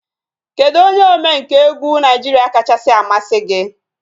Kedụ onye omenkà egwu Naijiria kachasị amasị gị?